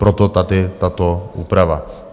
Proto tady tato úprava.